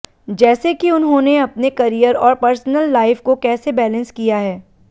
जैसे कि उन्होंने अपने करियर और पर्सनल लाइफ को कैसे बैलेंस किया है